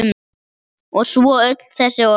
Og svo öll þessi orð.